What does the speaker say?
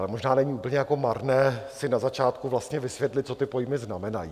Ale možná není úplně jako marné si na začátku vlastně vysvětlit, co ty pojmy znamenají.